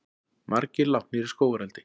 Margir látnir í skógareldi